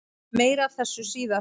Meira af þessu síðar.